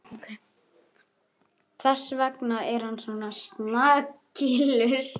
Þess vegna er hann svona snakillur.